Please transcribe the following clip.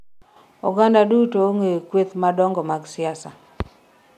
oganda duto ong'eyo kueth madongo mag siasa